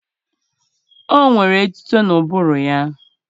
O nwere etuto n'ụbụrụ ya